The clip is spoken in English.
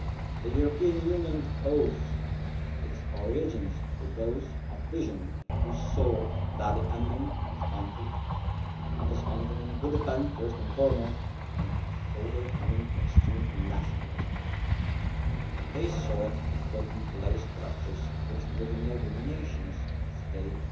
The European Union owes its origins to those of vision who saw that the ending of conflict on this continent would depend first and foremost on overcoming extreme nationalism. They sought to put in place structures which would enable nation states